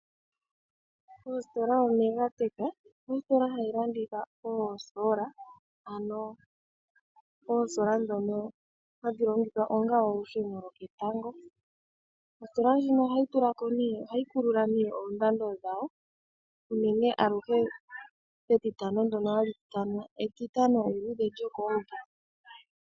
Ositola yoMegatech oyili hayi landitha oosola ndhono hadhi longithwa onga olusheno lwoketango. Ohayi kulula oondando dhawo unene tuu metitano ndyono hali ithanwa etitano eluudhe lyokomumvo.